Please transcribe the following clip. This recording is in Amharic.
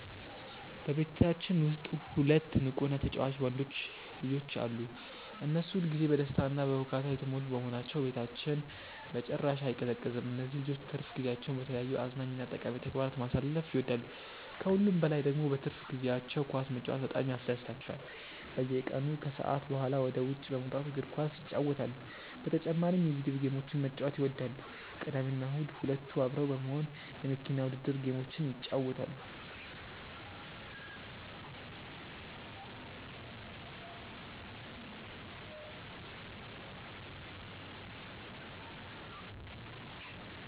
በቤታችን ውስጥ ሁለት ንቁ እና ተጫዋች ወንዶች ልጆች አሉ። እነሱ ሁል ጊዜ በደስታ እና በሁካታ የተሞሉ በመሆናቸው ቤታችን በጭራሽ አይቀዘቅዝም። እነዚህ ልጆች ትርፍ ጊዜያቸውን በተለያዩ አዝናኝ እና ጠቃሚ ተግባራት ማሳለፍ ይወዳሉ። ከሁሉም በላይ ደግሞ በትርፍ ጊዜያቸው ኳስ መጫወት በጣም ያስደስታቸዋል። በየቀኑ ከሰዓት በኋላ ወደ ውጭ በመውጣት እግር ኳስ ይጫወታሉ። በተጨማሪም የቪዲዮ ጌሞችን መጫወት ይወዳሉ። ቅዳሜና እሁድ ሁለቱ አብረው በመሆን የመኪና ውድድር ጌሞችን ይጫወታሉ።